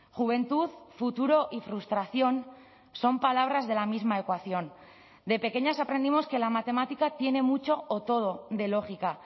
juventud futuro y frustración son palabras de la misma ecuación de pequeñas aprendimos que la matemática tiene mucho o todo de lógica